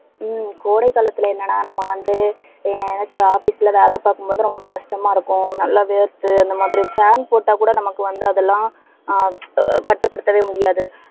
ஹம் கோடை காலத்துல என்னென்னா நம்ம வந்து எனக்கு office ல வேலை பார்க்கும் போது, ரொம்ப கஷ்டமா இருக்கும். நல்ல வேர்த்து அந்த மாதிரி fan போட்டாக் கூட நமக்கு வந்து அதெல்லாம் ஆஹ் கட்டுப்படுத்தவே முடியாது.